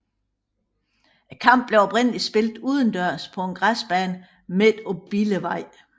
Kampene blev oprindelig spillet udendørs på en græsbane midt på Billevej